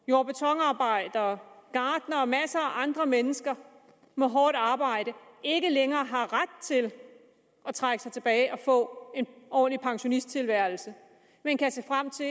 jord og betonarbejdere gartnere og masser af andre mennesker med hårdt arbejde ikke længere har ret til at trække sig tilbage og få en ordentlig pensionisttilværelse men kan se frem til